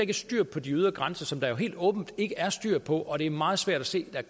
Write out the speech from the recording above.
er styr på de ydre grænser som der jo helt åbenlyst ikke er styr på og det er meget svært at se at